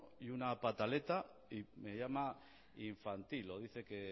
y una pataleta y me llama infantil dice que